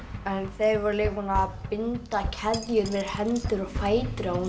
þeir voru búnir að binda keðjur um hendur og fætur á